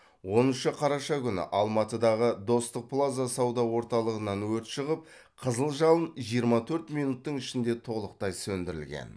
оныншы қараша күні алматыдағы достық плаза сауда орталығынан өрт шығып қызыл жалын жиырма төрт минуттың ішінде толықтай сөндірілген